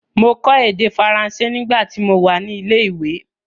Mọ kọ èdè Faranse nígbà ti mo wà ní ilé ìwé.